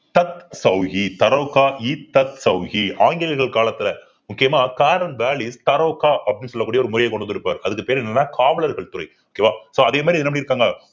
ஆங்கிலேயர்கள் காலத்துல முக்கியமா அப்படின்னு சொல்லக்கூடிய ஒரு முறையை கொண்டு வந்திருப்பாரு அதுக்கு பேரு என்னன்னா காவலர்கள் துறை okay வா so அதே மாதிரி என்ன பண்ணியிருக்காங்க